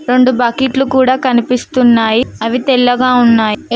రొండు బకిట్లు కూడా కనిపిస్తున్నాయి అవి తెల్లగా ఉన్నాయి ఏ--